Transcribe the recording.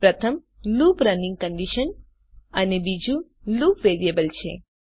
પ્રથમ loop running condition છે અને બીજું લુપ વેરિયેબલ છે